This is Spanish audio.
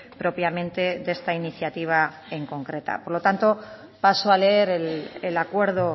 propiamente de esta iniciativa en concreta por lo tanto paso a leer el acuerdo